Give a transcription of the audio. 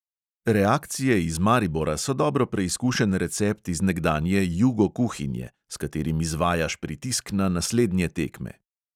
Reakcije iz maribora so dobro preizkušen recept iz nekdanje "jugo kuhinje", s katerim izvajaš pritisk na naslednje tekme.